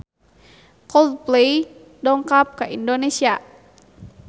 Coldplay dongkap ka Indonesia